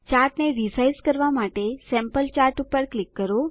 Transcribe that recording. ચાર્ટને resize કરવા માટે sample chart પર ક્લિક કરો